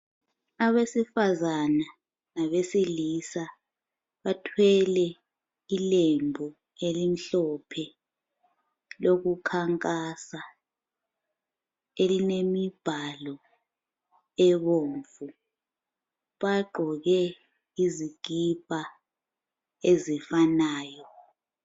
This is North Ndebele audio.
Abesifazana labesilisa bathwele ilembu elimhlophe lokukhankasa elilemibhalo ebomvu. Bagqoke izikipa ezifanayo.